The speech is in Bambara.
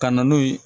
Ka na n'o ye